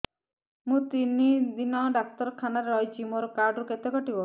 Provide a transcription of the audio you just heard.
ମୁଁ ତିନି ଦିନ ଡାକ୍ତର ଖାନାରେ ରହିଛି ମୋର କାର୍ଡ ରୁ କେତେ କଟିବ